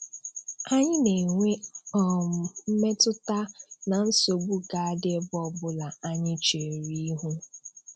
Anyị na-enwe um mmetụta na nsogbu ga adị ebe ọbụla anyị cheere ihu.